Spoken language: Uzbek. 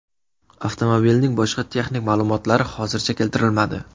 Avtomobilning boshqa texnik ma’lumotlari hozircha keltirilmadi.